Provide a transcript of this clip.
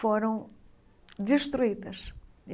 foram destruídas.